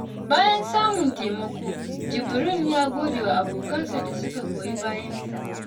Bayan samun taimako, Jibrin ya gode wa abokansa da suka goyi bayansa.